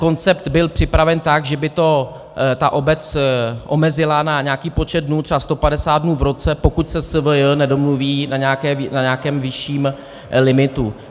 Koncept byl připraven tak, že by to ta obec omezila na nějaký počet dnů, třeba 150 dnů v roce, pokud se SVJ nedomluví na nějakém vyšším limitu.